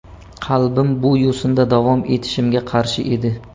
Qalbim bu yo‘sinda davom etishimga qarshi edi.